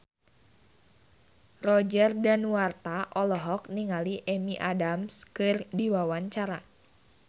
Roger Danuarta olohok ningali Amy Adams keur diwawancara